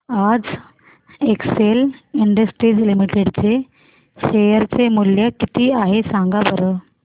आज Excel Industries limited चे share चे मूल्य किती आहे सांगा बरं